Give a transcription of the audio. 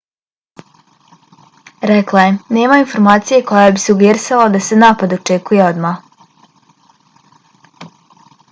rekla je nema informacije koja bi sugerisala da se napad očekuje odmah